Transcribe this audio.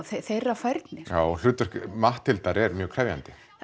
þeirra færni já og hlutverk Matthildar er mjög krefjandi